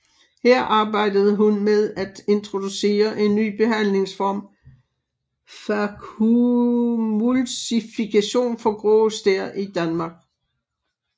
Her arbejdede hun med at introducere en ny behandlingsformen phacoemulsification for grå stær i Danmark